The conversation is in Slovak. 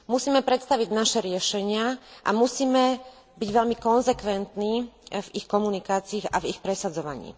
Musíme predstaviť naše riešenia a musíme byť veľmi konzekventní v ich komunikácii a v ich presadzovaní.